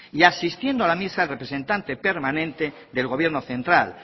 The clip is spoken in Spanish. y asistiendo a la misma el representante permanente del gobierno central